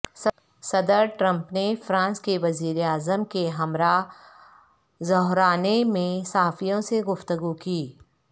صدر ٹرمپ نے فرانس کے وزیر اعظم کے ہمراہ ظہرانے میں صحافیوں سے گفتگو کی